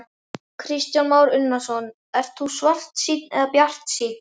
Kristján Már Unnarsson: Ert þú svartsýnn eða bjartsýnn?